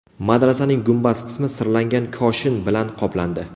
Madrasaning gumbaz qismi sirlangan koshin bilan qoplandi.